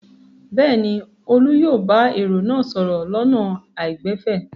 Bẹ́ẹ̀ ni, Olú yóò bá èrò náà sọ̀rọ̀ lọ́nà àìgbẹ̀fẹ̀.